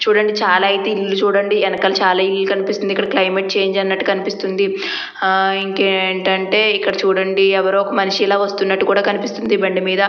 చూడండి చాలా అయితే ఇల్లు చూడండి వెనకాల చాలా ఇల్లు కనిస్తుంది. ఇక్కడ క్లైమేట్ చేంజ్ అన్నది కనిపిస్తుంది. ఆ ఇంకేం టంటే ఇక్కడ చూడండి ఎవరో ఒక మనిషి ఇక్కడ వస్తున్నట్టుగా కూడా కనపడుతుంది బండి మీద.